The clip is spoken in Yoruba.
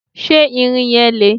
ṣé ìrìn yẹn le?